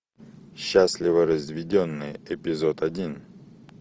счастливо разведенные эпизод один